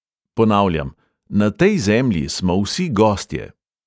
Ponavljam: na tej zemlji smo vsi gostje!